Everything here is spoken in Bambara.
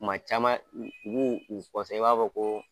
Kuma caman u b'u i b'a fɔ ko